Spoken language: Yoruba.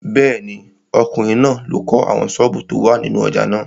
Bẹ́ẹ̀ni, ọkùnrin náà ló kọ́ àwọn sọ́ọ̀bù tó wà nínú ojà náà.